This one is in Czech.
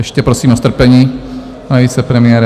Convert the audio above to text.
Ještě prosím o strpení, pane vicepremiére.